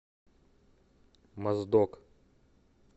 моздок